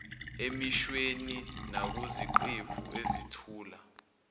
emishweni nakuziqephu ezethula